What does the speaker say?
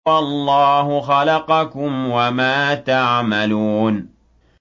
وَاللَّهُ خَلَقَكُمْ وَمَا تَعْمَلُونَ